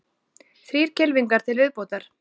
Þrír kylfingar til viðbótar